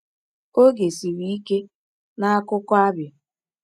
Oge siri ike n’akụkọ Abia!